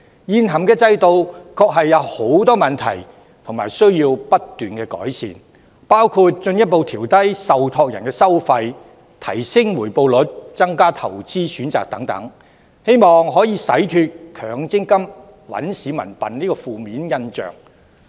現行制度確有很多問題，需要不斷改善，包括進一步調低受託人的收費、提升回報率、增加投資選擇等，希望可洗脫強積金"搵市民笨"的負面印象。